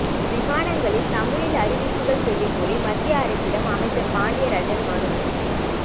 விமானங்களில் தமிழில் அறிவிப்புகள் செய்யக் கோரி மத்திய அரசிடம் அமைச்சர் பாண்டியராஜன் மனு